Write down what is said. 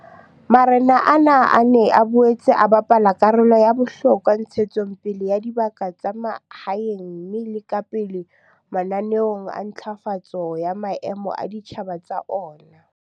Marena ana a ne a boetse a bapala karolo ya bohlokwa ntshetsong pele ya dibaka tsa mahaeng mme a le ka pele mananeong a ntlafatso ya maemo a ditjhaba tsa ona.